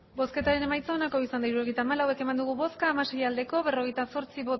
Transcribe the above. hirurogeita hamalau eman dugu bozka hamasei bai berrogeita zortzi